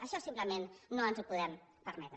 això simplement no ens ho podem permetre